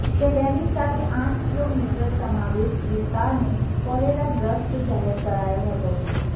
તેની સાથે આઠ કિલો મીટર સમાવિસ્ટ વિસ્તારને કોલેરાગ્રસ્ત જાહેર કરાયો હતો